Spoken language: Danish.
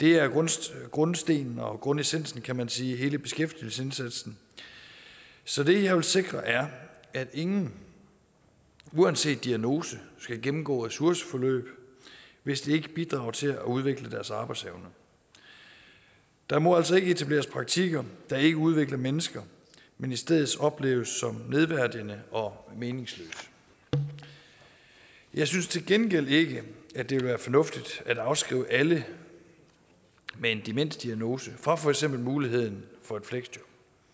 det er grundstenen grundstenen og grundessensen kan man sige i hele beskæftigelsesindsatsen så det jeg vil sikre er at ingen uanset diagnose skal gennemgå ressourceforløb hvis det ikke bidrager til at udvikle deres arbejdsevne der må altså ikke etableres praktikker der ikke udvikler mennesker men i stedet opleves som nedværdigende og meningsløse jeg synes til gengæld ikke at det vil være fornuftigt at afskrive alle med en demensdiagnose fra for eksempel muligheden for et fleksjob